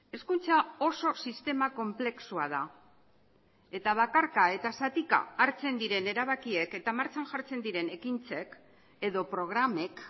hezkuntza oso sistema konplexua da eta bakarka eta zatika hartzen diren erabakiek eta martxan jartzen diren ekintzek edo programek